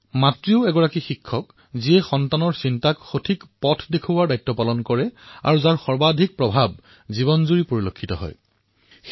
মাতৃৰ বাহিৰে শিক্ষকেই একমাত্ৰ ব্যক্তি যি শিশুৰ চিন্তাধাৰাক প্ৰকৃত পথলৈ নিয়াৰ দায়িত্ব পালন কৰে আৰু তেওঁৰ সৰ্বাধিক প্ৰভাৱ জীৱনতো দেখা পোৱা যায়